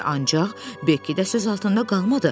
Ancaq Bekki də söz altında qalmadı.